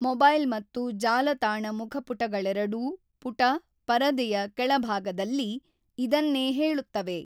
Mobile ಮತ್ತು ಜಾಲತಾಣ ಮುಖಪುಟಗಳೆರಡೂ ಪುಟ/ಪರದೆಯ ಕೆಳಭಾಗದಲ್ಲಿ ಇದನ್ನೇ ಹೇಳುತ್ತವೆ.